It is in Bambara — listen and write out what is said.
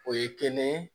O ye kelen ye